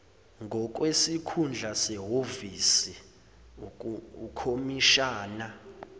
ngokwesikhundla sehhovisi ukhomishina